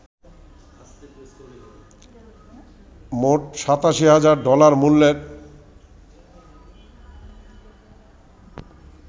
মোট ৮৭ হাজার ডলার মূল্যের